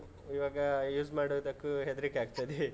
ಇವಾಗ use ಮಾಡೋದಕ್ಕೂ ಹೆದ್ರಿಕೆ ಆಗ್ತದೆ.